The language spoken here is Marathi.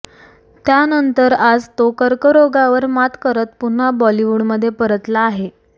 त्यानंतर आज तो कर्करोगावर मात करत पुन्हा बॉलिवूडमध्ये परतला आहे